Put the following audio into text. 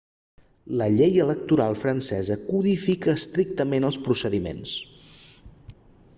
la llei electoral francesa codifica estrictament els procediments